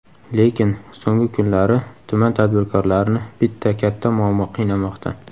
Lekin, so‘nggi kunlari tuman tadbirkorlarini bitta katta muammo qiynamoqda.